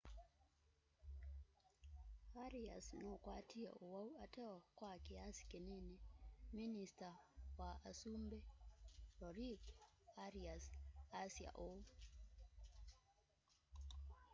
arias nukwatie uwau ateo kwa kiasi kinini minista wa usumbi rodrigo arias asya ûu